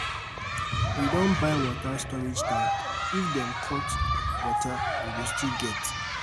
We don buy water storage tank, if dem dem cut um water, we um go still get.